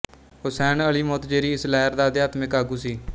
Hussain Ali Montazeri ਇਸ ਲਹਿਰ ਦਾ ਅਧਿਆਤਮਿਕ ਆਗੂ ਸੀ